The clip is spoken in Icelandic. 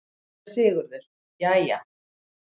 SÉRA SIGURÐUR: Jæja!